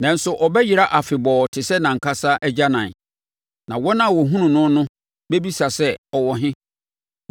nanso, ɔbɛyera afebɔɔ te sɛ nʼankasa agyanan; na wɔn a wɔhunuu no no bɛbisa sɛ, ‘Ɔwɔ he?’